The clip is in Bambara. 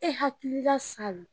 E hakilila salo